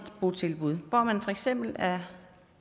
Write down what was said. botilbud hvor man for eksempel er